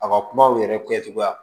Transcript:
A ka kumaw yɛrɛ kɛcogoya